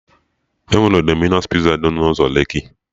Enwere Dominos Piza dị n'ụzọ Lekki